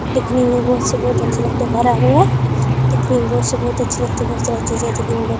दिखने में बहुत से बहुत अच्छा लगता है दिखने में बहुत से बहुत अच्छा लगता बहुत सारा चीज है जमीन बहोत--